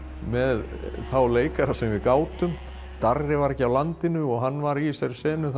með þá leikara sem við gátum Darri var ekki á landinu og hann var í þessari senu